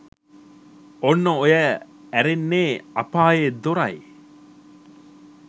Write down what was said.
ඔන්න ඔය ඇරෙන්නෙ අපායේ දොර'' යි